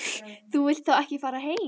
Þú vilt þá ekki fara heim?